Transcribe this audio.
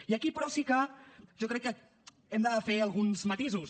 i aquí però sí que jo crec que hem de fer alguns matisos